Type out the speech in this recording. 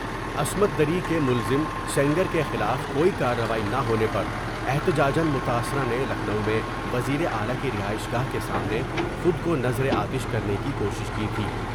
عصمت دری کے ملزم سینگر کے خلاف کوئی کاروائی نہ ہونے پر احتجاجا متاثرہ نے لکھنو میں وزیر اعلی کی رہائش گاہ کے سامنے خود کو نظر آ تش کرنے کی کوشش کی تھی ۔